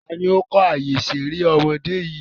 Taàní ó kọ́ àyè ìṣeré ọmọdé yìí?